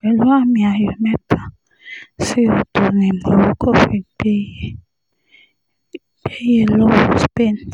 pẹ̀lú àmì-ayò mẹ́ta sí odò ni morocco fi gbẹ̀yẹ lọ́wọ́ spain